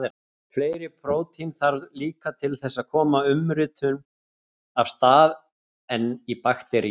Fleiri prótín þarf líka til þess að koma umritun af stað en í bakteríum.